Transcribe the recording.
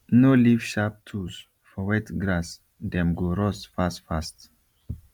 no leave sharp tools for wet grass dem go rust fast fast